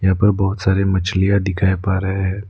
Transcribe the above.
यहा पर बहोत सारी मछलियां दिखाई पा रहे हैं।